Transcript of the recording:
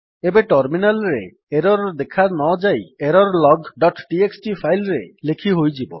ଏବେ ଟର୍ମିନାଲ୍ ରେ ଏରର୍ ଦେଖାନଯାଇ ଏରରଲଗ୍ ଡଟ୍ ଟିଏକ୍ସଟି ଫାଇଲ୍ ରେ ଲେଖିହୋଇଯିବ